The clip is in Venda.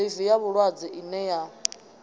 ḽivi ya vhulwadze ine ya